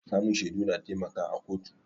Samun shaidu na taimaka a kotu